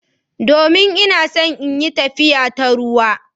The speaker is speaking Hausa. Domin ina so in yi tafiya ta ruwa.